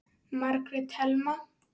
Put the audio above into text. Margrét Thelma.